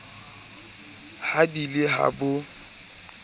ha di le ha bo